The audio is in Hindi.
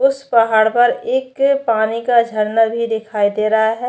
उस पहाड़ पर एक पानी का झरना भी दिखाई दे रहा है।